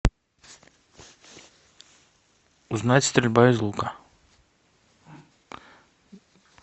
узнать стрельба из лука